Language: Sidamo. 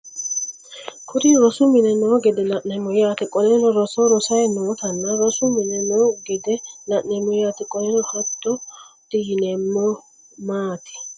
Kuri rosu mine no gede la'nemo yaate qoleno roso rosayi nootano rosu mine no gede la'nemo yaate qoleno hatoti yinemo maati